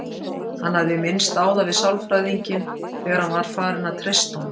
Hann hafði minnst á það við sálfræðinginn þegar hann var farinn að treysta honum.